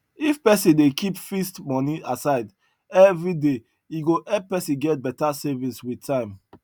if person dey keep fixed money aside everyday e go help person get better savings with time